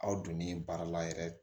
Aw donnen baara la yɛrɛ